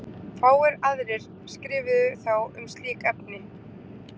Fáir aðrir skrifuðu þá um slík efni.